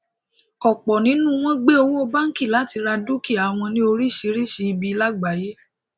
ọpọ nínú wọn gbé owó bánkì láti ra dúkìá wọn ní orísirísi ibi lágbàyé